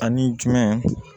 Ani jumɛn